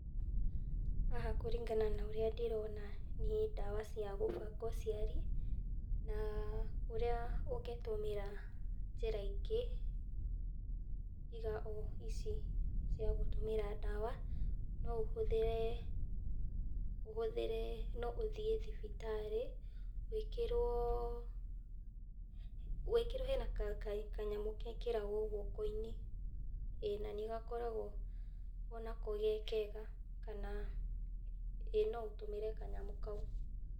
Haha kũringana na ũrĩa ndĩrona, nĩ ndawa cia gũbanga ũciari ,na ũrĩa ũngĩtũmĩra njĩra ingĩ tiga o ici cia gũtũmĩra ndawa, no ũhũthĩre ũhũthĩre, ũthiĩ thibitarĩ wĩkĩrwo, wĩkĩrwo hena ka kanyamũ gekĩragwo guoko-inĩ, na nĩgakoragwo onako gekega kana ĩĩ no ũtũmĩre kanyamũ kau.